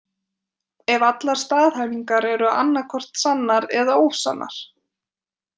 Ef allar staðhæfingar eru annaðhvort sannar eða ósannar.